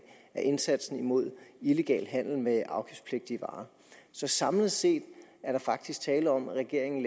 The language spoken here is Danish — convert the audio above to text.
indsatsen imod illegal handel med afgiftspligtige varer så samlet set er der faktisk tale om at regeringen